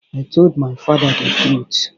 I told my father the truth.